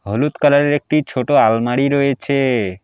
হলুদ কালার -এর একটি ছোট আলমারি রয়েছে।